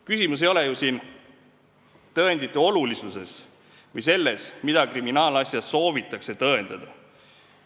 Küsimus ei ole ju tõendite olulisuses või selles, mida kriminaalasjas soovitakse tõendada.